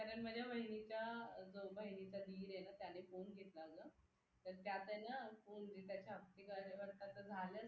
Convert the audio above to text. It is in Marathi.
कारण माझ्या बहिणीच्या बहिणीचा दिरेना त्याने फोन घेतला होता तर त्यात ये ना असं झालंय